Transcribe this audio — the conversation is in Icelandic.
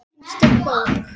Einstök bók.